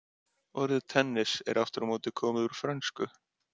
Maður spilar í allt öðruvísi skóm heldur en flestir leikmenn eru vanir.